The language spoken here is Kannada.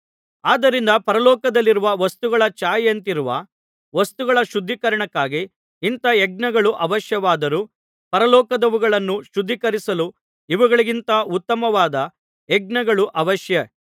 ಆದ್ದರಿಂದ ಪರಲೋಕದಲ್ಲಿರುವ ವಸ್ತುಗಳ ಛಾಯೆಯಂತಿರುವ ವಸ್ತುಗಳ ಶುದ್ಧೀಕರಣಕ್ಕಾಗಿ ಇಂಥಾ ಯಜ್ಞಗಳು ಅವಶ್ಯವಾದರೂ ಪರಲೋಕದವುಗಳನ್ನು ಶುದ್ಧೀಕರಿಸಲು ಇವುಗಳಿಗಿಂತ ಉತ್ತಮವಾದ ಯಜ್ಞಗಳು ಅವಶ್ಯ